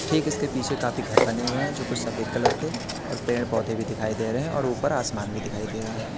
ठीक इसके पीछे काफी घर बने हुए है जो कुछ सफेद कलर के और पेड़ पौधे भी दिखाई दे रहे है और ऊपर आसमान भी दिखाई दे रहा है।